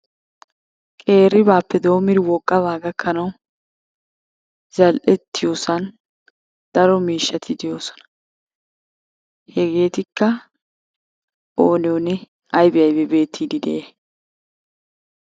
Qeeribaappe doommidi wogaba gakkanawu zal"ettiyossan daro miishshati de'oosona, hegetikka oonne oonne aybbee aybbee beettiidi de'iyay?